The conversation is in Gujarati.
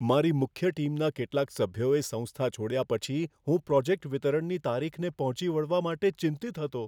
મારી મુખ્ય ટીમના કેટલાક સભ્યોએ સંસ્થા છોડ્યા પછી હું પ્રોજેક્ટ વિતરણની તારીખને પહોંચી વળવા માટે ચિંતિત હતો.